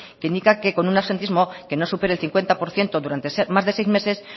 que indica que con un absentismo que no supere el cincuenta por ciento durante más de seis meses